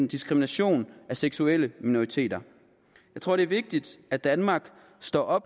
diskrimination af seksuelle minoriteter jeg tror det er vigtigt at danmark står